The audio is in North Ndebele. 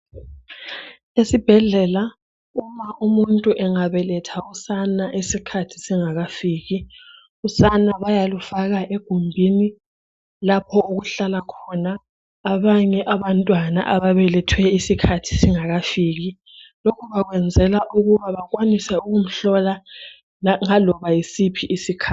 Esibhedlela uma umuntu engabeletha usane isikhathi singakafiki luyafakwa egumbini lapho okuhlala khona abanye abantwana abafanayo. Lokhu bakwenzela ukuthi bakwanise ukumhlola loba ngasiphi isikhathi.